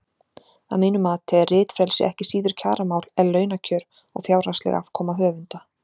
Að mínu mati er ritfrelsi ekki síður kjaramál en launakjör og fjárhagsleg afkoma höfunda.